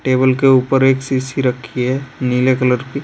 Table के ऊपर एक शीशी रखी है नीले कलर की।